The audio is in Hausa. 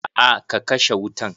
A'a ka kashe wutan.